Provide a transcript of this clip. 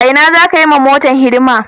A Ina za ka yi wa motar hidima?